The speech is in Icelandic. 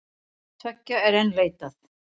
Tveggja er enn leitað.